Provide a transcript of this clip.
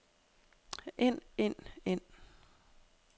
ind ind ind